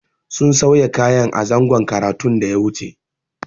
Sun sauya kayan a zangon karatun da ya wuce.